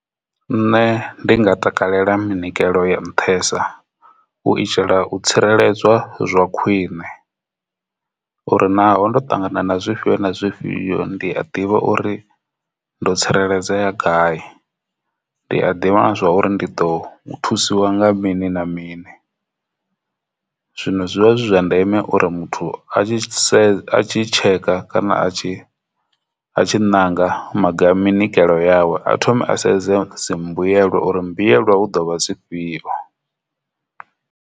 Nṋe ndi nga takalela minyikelo ya nṱhesa u itela u tsireledzwa zwa khwine uri naho ndo ṱangana na zwifhio na zwifhio ndi a ḓivha uri ndo tsireledzea gai ndi a ḓivha zwa uri ndi ḓo thusiwa nga mini na mini. Zwino zwivha zwi zwa ndeme uri muthu a tshi tsheka kana a tshi a tshi nanga maga a minyikelo yawe a thome a sedze dzi mbuyelwa uri mbuyelwa hu ḓo vha dzifhio.